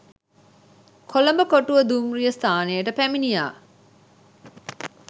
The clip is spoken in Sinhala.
කොළඹ කොටුව දුම්රිය ස්ථානයට පැමිණියා.